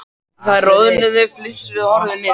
Þær roðnuðu, flissuðu og horfðu niður.